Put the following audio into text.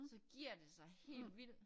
Så giver det sig helt vildt